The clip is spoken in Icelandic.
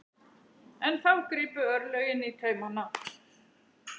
En þá gripu örlögin í taumana.